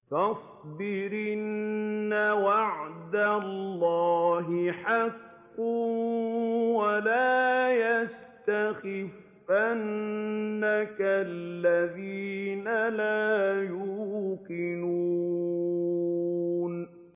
فَاصْبِرْ إِنَّ وَعْدَ اللَّهِ حَقٌّ ۖ وَلَا يَسْتَخِفَّنَّكَ الَّذِينَ لَا يُوقِنُونَ